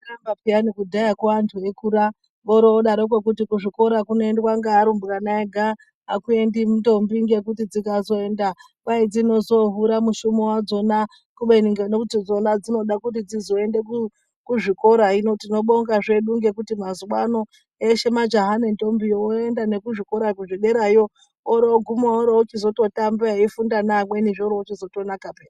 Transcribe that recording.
Zvanga zvakanaka piyani vanhu veikura vorodaroko kuti kuzvikora kunoendwa nevarumbwana Vega akuendi ndombi nekuti dzikazoenda kwaizohura mushumi wadzina kubeni tikada kuzviona dzinoda kuti dzizoenda kuzvikora hino tinobonga hedu mazuva ano eshe majaha nendombi voenda kuzvikorayo zvederayo oroguma eitamba eifunda nevamweni zvozotonaka piya.